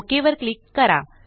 okay वर click करा